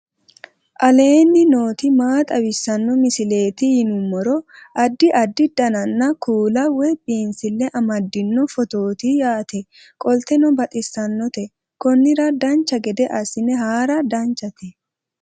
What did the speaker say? aleenni nooti maa xawisanno misileeti yinummoro addi addi dananna kuula woy biinsille amaddino footooti yaate qoltenno baxissannote konnira dancha gede assine haara danchate